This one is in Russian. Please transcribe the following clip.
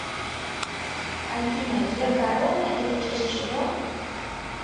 афина геокорона это часть чего